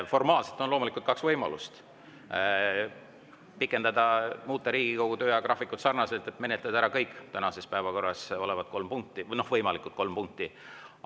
Formaalselt on kaks võimalust: pikendada ja muuta Riigikogu töö ajagraafikut nii, et menetletakse ära kõik tänases päevakorras olevad kolm punkti või võimalikud kolm punkti.